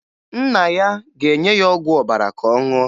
Nna ya ga-enye ya ọgwụ ọbara ka ọ ṅụọ